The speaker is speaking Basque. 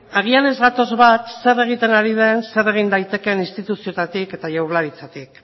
agian ez gatoz bat zer egiten ari den zer egin daiteken instituzioetatik eta jaurlaritzatik